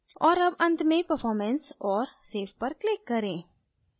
और अब and में performance और save click करें